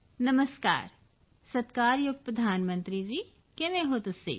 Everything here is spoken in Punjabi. ਨਮਸਕਾਰ ਸਤਿਕਾਰਯੋਗ ਪ੍ਰਧਾਨ ਮੰਤਰੀ ਜੀ ਕਿਵੇਂ ਹੋ ਤੁਸੀਂ